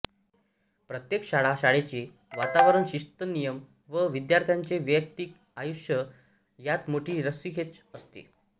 प्रत्येक शाळा शाळेचे वातावरण शिस्त नियम व विद्यार्थ्यांचे वयक्तिक आयुष्य यात मोठी रस्सीखेच असते